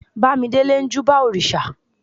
bamidele n júbà òrìsà